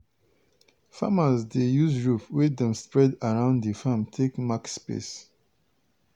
farmers dey use rope wey dem spread around di farm take mark space.